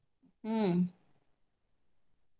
ಹ್ಮ.